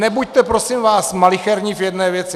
Nebuďte prosím vás malicherní v jedné věci.